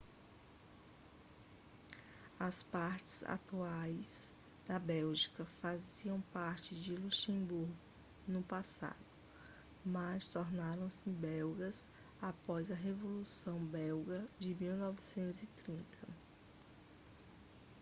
as partes atuais da bélgica faziam parte do luxemburgo no passado mas tornaram-se belgas após a revolução belga de 1830